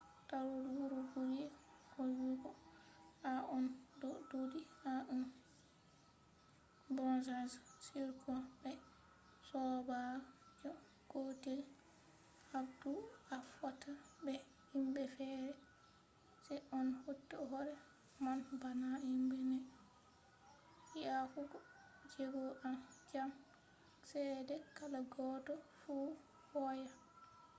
tarol wuro buri hoyugo to on do duudi to an tan on ko be sobajo gotel habdu a fotta be himbe fere se on hauta hore mon bana himbe nai yahugo jego jam chede kala goddo fu hoya